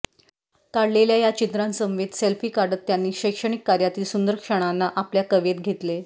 काढलेल्या या चित्रांसमवेत सेल्फी काढत त्यांनी शैक्षणिक कार्यातील सुंदर क्षणांना आपल्या कवेत घेतले